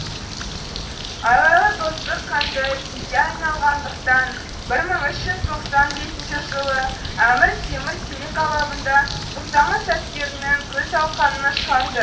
айлалы достық қанды кекке айналғандықтан бір мың үш жүз тоқсан бесінші жылы әмір темір терек алабында тоқтамыс әскерінің күл талқанын шығарды